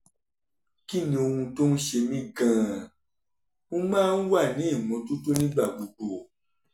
kí ni ohun tó ń ṣe mí gan-an? mo máa ń wà ní ìmọ́tótó nígbà gbogbo